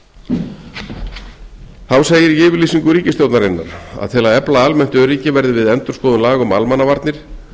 mann þá segir í yfirlýsingu ríkisstjórnarinnar að til að efla almennt öryggi verði við endurskoðun laga um almannavarnir